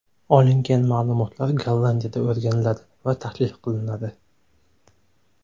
Olingan ma’lumotlar Gollandiyada o‘rganiladi va tahlil qilinadi.